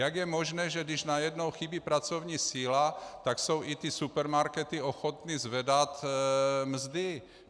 Jak je možné, že když najednou chybí pracovní síla, tak jsou i ty supermarkety ochotny zvedat mzdy?